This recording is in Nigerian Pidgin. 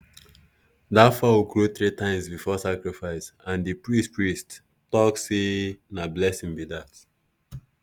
that fowl crow three times before sacrifice and the priest priest talk say na blessing be that.